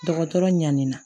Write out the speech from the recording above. Dɔgɔtɔrɔ ɲanin na